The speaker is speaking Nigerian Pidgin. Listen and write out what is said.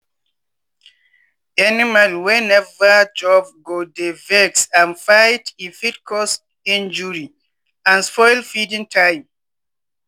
animal wey neva chopgo dey vex and fight e fit cause injury and spoil feeding time.